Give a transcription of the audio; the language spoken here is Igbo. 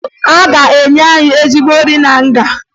A ga-enye anyị ezigbo nri na nga